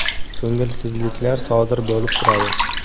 Ko‘ngilsizliklar sodir bo‘lib turadi.